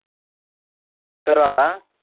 ਕਰਵਾ ਲਾ